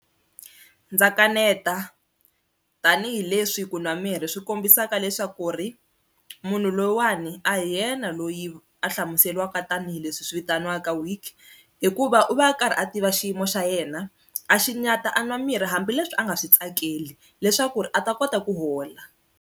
Ndza kaneta tanihileswi ku nwa mirhi swi kombisaka leswaku ri munhu loyiwani a hi yena loyi a hlamuseriwaka tanihileswi swi vitaniwaka weak hikuva u va a karhi a tiva xiyimo xa yena a xinyata a nwa mirhi hambileswi a nga swi tsakeli leswaku ri a ta kota ku hola.